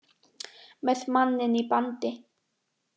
Með manninn í bandi